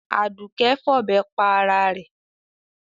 Àdùké fọ̀bẹ pa ara rẹ̀.